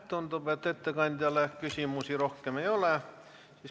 Tundub, et ettekandjale küsimusi rohkem ei ole.